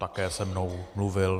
Také se mnou mluvil.